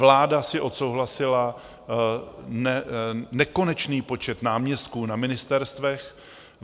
Vláda si odsouhlasila nekonečný počet náměstků na ministerstvech.